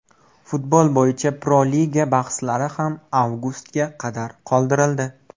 Futbol bo‘yicha Pro-Liga bahslari ham avgustga qadar qoldirildi.